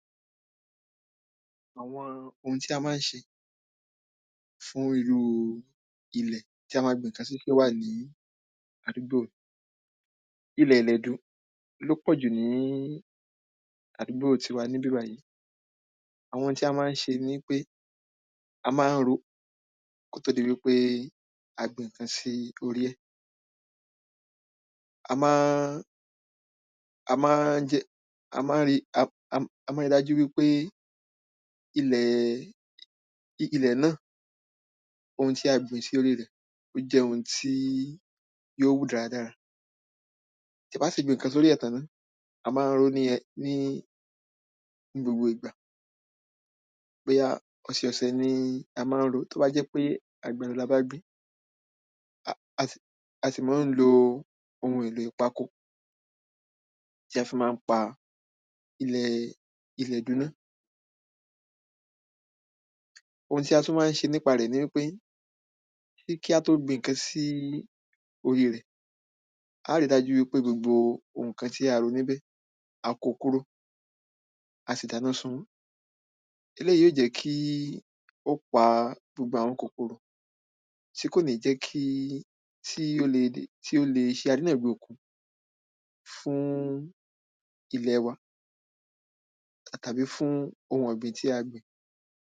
àwọn ohun ti a má n ṣe wọ́n yo ilẹ̀ tí a má ń gbin ǹkan sí tí ó wà ní àdúgbò ilẹ̀ ìlẹ̀dú ló pọ̀jù ní àdúgbò tiwa níbí bàyí àwọn tí a má ń ṣe niwípé a má ń ró kótó diwípé a gbin ǹkan sí orí ẹ̀ a má ń a má ń jẹ́ a má ń ri a má ń ri dájú wípé ilẹ̀ ilẹ̀ náà ohun tí a gbìn sí orí rẹ̀ ó jẹ́ ohun tí yó wù dáradára tí a bá sì gbin ǹkan sí orí ẹ̀ tán ná a má ń ró ní gbogbo ìgbà bóyá ọ̀sẹ̀ ọ̀sẹ̀ ni a má ń ró tó bá jẹ́ pé àgbàdo labá gbìn a sì má ń lo ohun èlò ìpako tí a fi má ń pa ilẹ̀ ilẹ̀dú náà ohun tí a tún má ń ṣe nípa rẹ̀ niwípé ní kí á tó gbin ǹkan sí orí rẹ̀ a rí dájú wípé gbogbo ohun kan tí a ro níbẹ̀ a ko kúrò a sì dáná sún-ún eléyìí ó jẹ́ kí ó pa gbogbo àwọn kòkòrò tí kò ní jẹ́ kí tí ó le dè tí ó le fún ilẹ̀wa tàbí fún ohun ọ̀gbìn tí a